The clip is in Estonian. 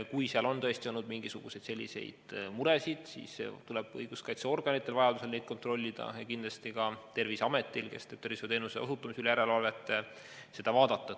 Kui seal on tõesti olnud selliseid muresid, siis tuleb õiguskaitseorganitel seda hooldekodu kontrollida ja kindlasti tuleb ka Terviseametil, kes teeb tervishoiuteenuse osutamise üle järelevalvet, seda vaadata.